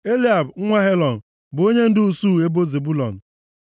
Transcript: Eliab nwa Helọn bụ onyendu usuu ebo Zebụlọn